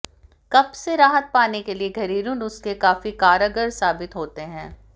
कब्ज से राहत पाने के लिए घरेलू नुस्खे काफी कारगर साबित होते हैं